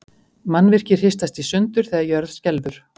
Mannvirki hristast í sundur þegar jörð skelfur.